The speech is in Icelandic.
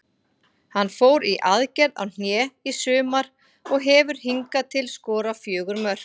Hann fór í aðgerð á hné í sumar og hefur hingað til skorað fjögur mörk.